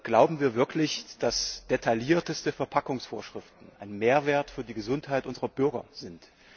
Glauben wir wirklich, dass detaillierteste Verpackungsvorschriften ein Mehrwert für die Gesundheit unserer Bürger sind?